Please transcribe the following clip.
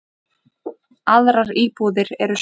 Aðrar íbúðir séu smærri.